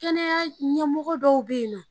Kɛnɛya ɲɛmɔgɔ dɔw bɛ yen nɔ.